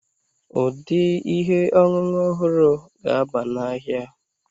Ụdị ihe ọṅụṅụ ọhụrụ ga-aba n'ahịa.